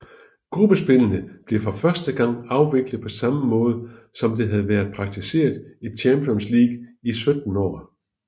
Gruppespillene blev for første gang afviklet på samme måde som det havde været praktiseret i Champions League i 17 år